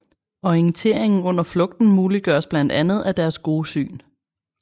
Orienteringen under flugten muliggøres blandt andet af deres gode syn